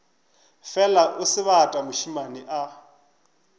fela o sebata mošemane a